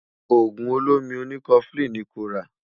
ògún ọ̀lómí òní koflin ní kò rà